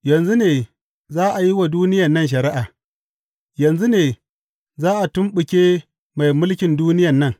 Yanzu ne za a yi wa duniyan nan shari’a, yanzu ne za a tumɓuke mai mulkin duniyan nan.